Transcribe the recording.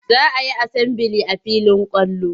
Za a yi asambili a filin kwallo.